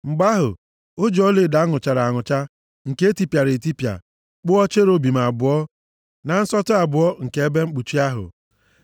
Mgbe ahụ, o ji ọlaedo a nụchara anụcha, nke e tipịara etipịa, kpụọ cherubim abụọ na nsọtụ abụọ nke ebe mkpuchi ahụ.